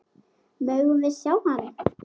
Megum við sjá hann!